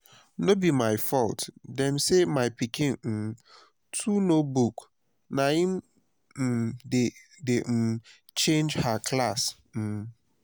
no be my fault dem say my pikin um too know book na im dey um change her class um